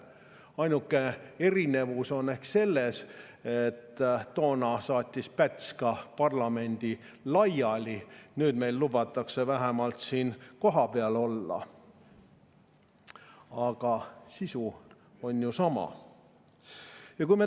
Ainuke erinevus on ehk selles, et toona saatis Päts ka parlamendi laiali, nüüd lubatakse meil vähemalt siin kohapeal olla, aga sisu on sama.